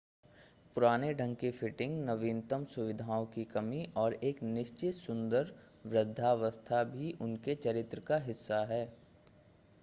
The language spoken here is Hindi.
पुराने ढंग की फिटिंग नवीनतम सुविधाओं की कमी और एक निश्चित सुंदर वृद्धावस्था भी उनके चरित्र का हिस्सा है